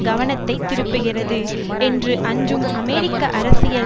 கவனத்தை திருப்புகிறது என்று அஞ்சும் அமெரிக்க அரசியல்